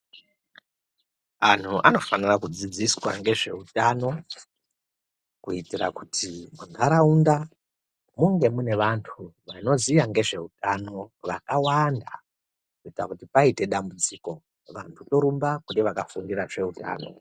Anhu anofanira kudzidziswa ngezveutano kuitira kuti munharaunda munge mune vantu vanoziya ngezveutano vakawanda kuita kuti paite dambudziko vantu torumba kune vakafundira zveutano.